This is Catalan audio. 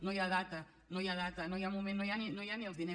no hi ha data no hi ha data no hi ha moment no hi ha ni els diners